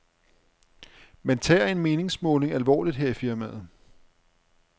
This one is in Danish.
Man tager en meningsmåling alvorligt her i firmaet.